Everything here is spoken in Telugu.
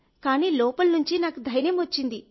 కానీ లోపలి నుండి నాకు ధైర్యం వచ్చింది